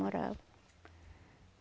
Moravam.